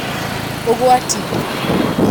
Ũgwati: